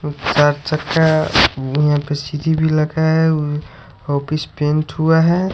चार चक्का office paint हुआ है।